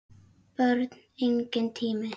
Börn: Enginn tími.